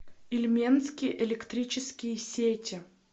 ильменские электрические сети